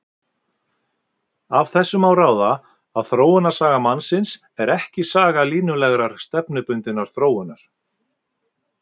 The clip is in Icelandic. Af þessu má ráða að þróunarsaga mannsins er ekki saga línulegrar, stefnubundinnar þróunar.